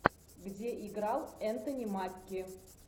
где играл энтони маки